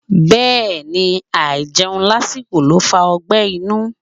Bẹ́ẹ̀ni, àìjẹun lásìkò ló ń fa ọgbẹ́ inú.